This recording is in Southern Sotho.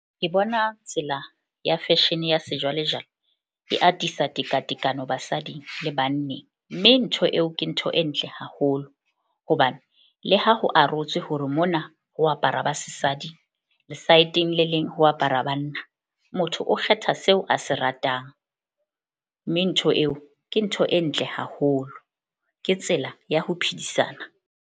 Ke bona tsela ya fashion ya sejwalejwale e atisa tekatekano basading le banneng. Mme ntho eo ke ntho e ntle haholo hobane le ha ho arotswe hore mona ho aparwa ba sesadi, lesaeteng le leng ho apara banna. Motho o kgetha seo a se ratang, mme ntho eo ke ntho e ntle haholo. Ke tsela ya ho phedisana.